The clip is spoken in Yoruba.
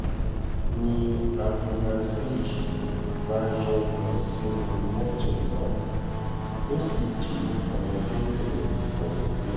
ni àfúrásì yìí bá yọ́ lọ sínú mọ́tò náà ó sì jí ọmọdébìnrin ọ̀hún gbé